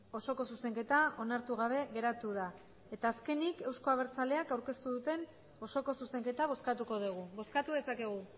osoko zuzenketa onartu gabe geratu da azkenik euzko abertzaleak aurkeztu duten osoko zuzenketa bozkatuko dugu bozkatu dezakegu